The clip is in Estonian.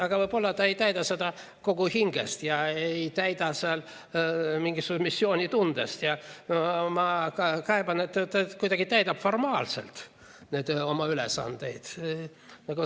Aga võib-olla ta ei täida seda kogu hingest ja ei täida seal mingisuguse missioonitundega ja ma kaeban, et ta kuidagi täidab formaalselt neid oma ülesandeid.